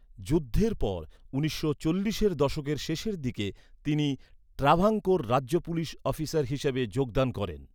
যুদ্ধের পর, উনিশশো চল্লিশের দশকের শেষের দিকে তিনি ট্রাভাঙ্কোর রাজ্য পুলিস অফিসার হিসাবে যোগদান করেন।